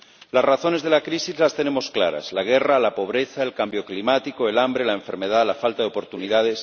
Las razones de la crisis las tenemos claras la guerra, la pobreza, el cambio climático, el hambre, la enfermedad, la falta de oportunidades.